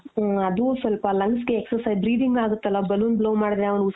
ಹ್ನ್ಮ್ ಅದು ಸ್ವಲ್ಪ lungs ಗೆ exercise breathing ಆಗುತ್ತಲ balloon blow ಮಾಡುದ್ರೆ ಅವ್ನು.